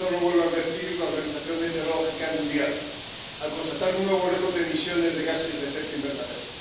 Hoy nos lo vuelve a advertir la Organización Meteorológica Mundial, al constatar un nuevo récord de emisiones de gases de efecto invernadero.